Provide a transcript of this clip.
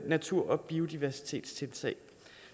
natur og biodiversitet